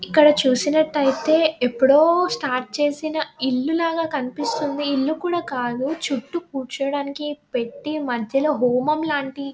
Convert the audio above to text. ఇక్కడ చూసినట్టయితే ఎప్పుడో స్టార్ట్ చేసిన ఇల్లు లాగా కనిపిస్తుంది ఈ ఇల్లు కూడా కాదు చుట్టూ కూర్చోవడానికి పెట్టి మధ్యలో హోమం లాంటిది.